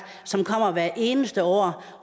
som kommer hvert eneste år